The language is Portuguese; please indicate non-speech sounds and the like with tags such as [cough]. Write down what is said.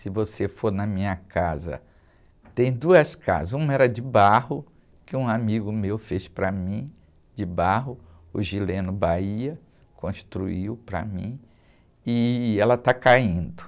Se você for na minha casa, tem duas casas, uma era de barro, que um amigo meu fez para mim, de barro, o [unintelligible] construiu para mim, e ela está caindo.